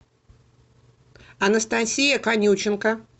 анастасия конюченко